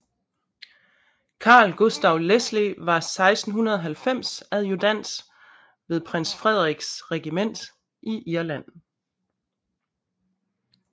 Carl Gustav Lesle var 1690 adjudant ved Prins Frederiks Regiment i Irland